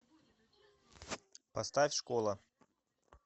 поставь школа